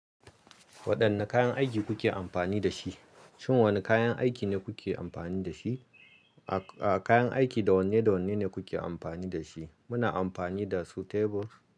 Waɗanne kayan aiki kuke amfani da shi? Shin wane kayan aiki ne kuke amfani da shi? A kayan aiki dawanne dawanne ne kuke amfani da shi? Muna amfani da su tables.